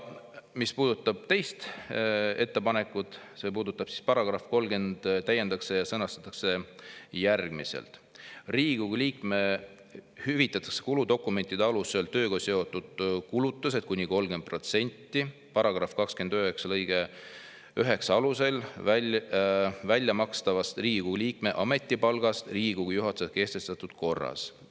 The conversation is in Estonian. " Mis puudutab teist ettepanekut, siis § 30 täiendatakse ja sõnastatakse järgmiselt: "Riigikogu liikmele hüvitatakse kuludokumentide alusel tööga seotud kulutused kuni 30% paragrahvis 29 alusel välja makstavast Riigikogu liikme ametipalgast Riigikogu juhatuse kehtestatud korras.